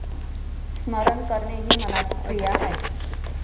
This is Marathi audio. स्मरण करणे हि मनाची क्रिया आहे.